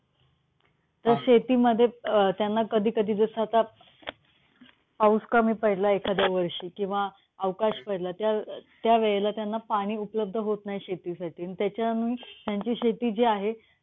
तर शेतीमध्ये त्यांना कधी कधी जस आता पाऊस कमी पडला एखाद्या वर्षी किंवा अवकाश पडला त्या त्यावेळी त्यांना पाणी उपलब्ध होत नाही शेतीसाठी. त्याच्यानी त्यांची जी शेती आहे